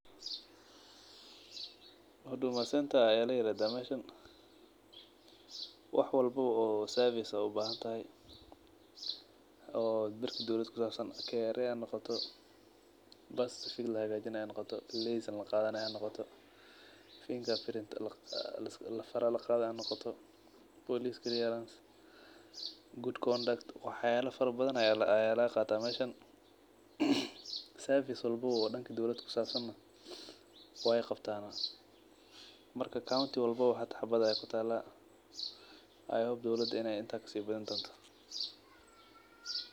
Huduma center ayaa lairadha meeshan waxwalba oo service oo ubahantahy oo berki dowlad kusaabsan KRA hanoqoto birth certificate lahagaajinay hanoqoto license laqadhanay hanoqoto finger print fara laqaadhay hanoqoto police clearance good conduct waxyaala fara badha ayaa lagaqata meeshan service walbaba oo danka dowlad kusaabsan neh wey qabtaana. Marka county walbaba hal xabad ayaa kutaala , i hope dowlada in ey intan kasibadhini doonto.